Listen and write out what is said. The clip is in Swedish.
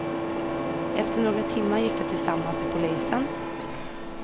Efter några timmar gick de tillsammans till polisen.